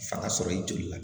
Fanga sɔrɔ i joli la